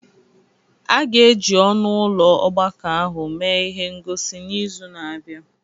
A ga-eji ọnụ ụlọ ọgbakọ ahụ mee ihe ngosi n'izu na-abịa.